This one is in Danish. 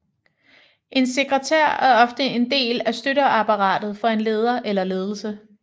En sekretær er ofte en del af støtteapparatet for en leder eller ledelse